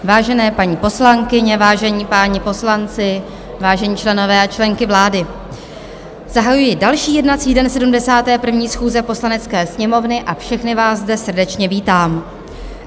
Vážené paní poslankyně, vážení páni poslanci, vážení členové a členky vlády, zahajuji další jednací den 71. schůze Poslanecké sněmovny a všechny vás zde srdečně vítám.